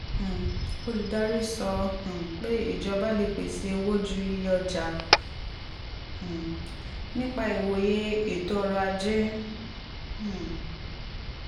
um olùdarí sọ um pé ìjọba lè pèsè owó ju iye ọjà um nípa ìwòye ètò ọrọ̀ ajé.